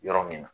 Yɔrɔ min na